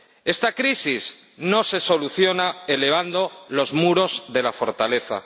Esta crisis no se soluciona elevando los muros de la fortaleza